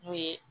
N'o ye